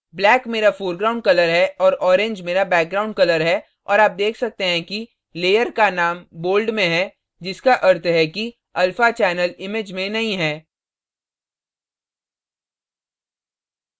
black मेरा foreground colour है और orange मेरा background colour है और आप देख सकते हैं कि layer का name bold में है जिसका अर्थ है कि alpha channel image में नहीं है